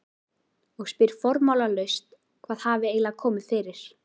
Og spyr formálalaust hvað hafi eiginlega komið fyrir.